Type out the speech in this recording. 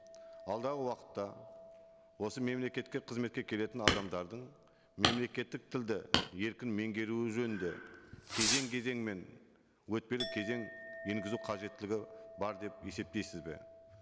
алдағы уақытта осы мемлекетке қызметке келетін адамдардың мемлекеттік тілді еркін меңгеруі жөнінде кезең кезеңімен өтпелі кезең енгізу қажеттілігі бар деп есептейсіз бе